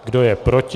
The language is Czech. Kdo je proti?